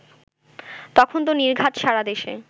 তখন তো নির্ঘাত সারা দেশে